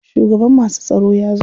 Shugaban masu tsaro ya zo.